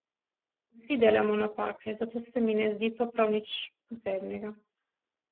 Vsi delamo napake, zato se mi ne zdi to prav nič posebnega.